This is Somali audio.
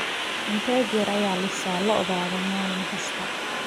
intee jeer ayaa lisaa lo'daada maalin kasta